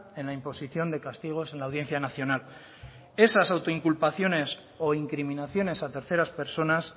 en la imposición de castigos en la audiencia nacional esas autoinculpaciones o incriminaciones a terceras personas